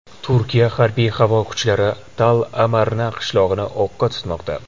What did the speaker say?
Turkiya harbiy-havo kuchlari Tall-Amarna qishlog‘ini o‘qqa tutmoqda.